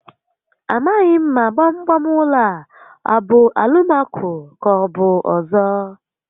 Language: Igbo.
Amaghi m ma gbam gbam ụlọ a abụ Alụmaco ka ọbụ ọzọ